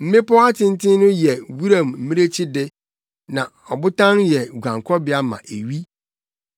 Mmepɔw atenten no yɛ wuram mmirekyi de; na abotan yɛ guankɔbea ma ewi.